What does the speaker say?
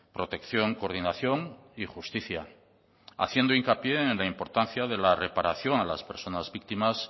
protección coordinación y justicia haciendo hincapié en la importancia de la reparación a las personas víctimas